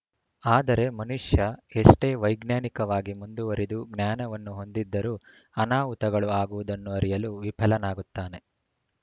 ಆದರೆ ಮನುಷ್ಯ ಎಷ್ಟೇ ವೈಜ್ಞಾನಿಕವಾಗಿ ಮುಂದುವರಿದು ಜ್ಞಾನವನ್ನು ಹೊಂದಿದ್ದರೂ ಅನಾಹುತಗಳು ಆಗುವುದನ್ನು ಅರಿಯಲು ವಿಫಲನಾಗುತ್ತಾನೆ